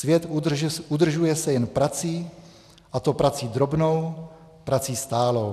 Svět udržuje se jen prací, a to prací drobnou, prací stálou."